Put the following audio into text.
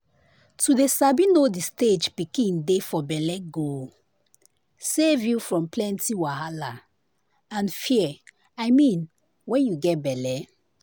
to dey sabi know the stage pikin dey for bellego save you from plenty wahala and fear i mean wen you get belle.